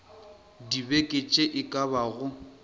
dibeke tše e ka bago